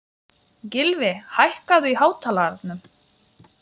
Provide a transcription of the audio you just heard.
Gylfi, hækkaðu í hátalaranum.